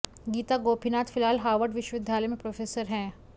गीता गोपीनाथ फिलहाल हार्वर्ड विश्विद्यालय में प्रोफेसर हैं